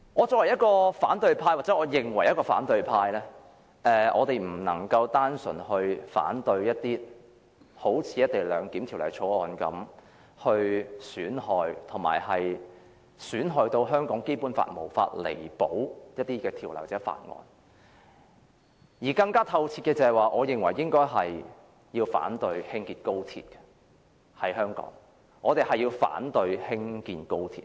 作為反對派議員——或自認為反對派——我們不能只單純反對好像《條例草案》般把香港《基本法》損害至無法彌補的某些條文或法案，我認為更徹底的做法應該是反對在香港興建高鐵。